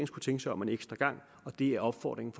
skulle tænke sig om en ekstra gang og det er opfordringen